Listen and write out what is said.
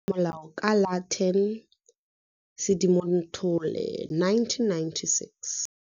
Wa saenwa go nna molao ka la 10 Sedimonthole 1996.